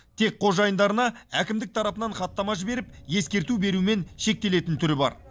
тек қожайындарына әкімдік тарапынан хаттама жіберіп ескерту берумен шектелетін түрі бар